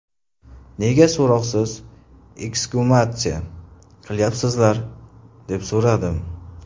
Nega so‘roqsiz eksgumatsiya qilayapsizlar, deb so‘radim.